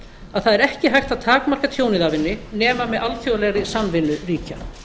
að það er ekki hægt að takmarka tjónið af henni nema með alþjóðlegri samvinnu ríkja